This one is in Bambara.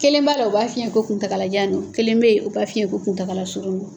Kelen b'a la o b'a f'i ye ko kuntagalajan don kelen bɛyi o b'a f'i ye ko kuntagala surun don.